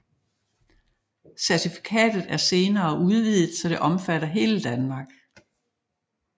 Certifikatet er senere udvidet så det omfatter hele Danmark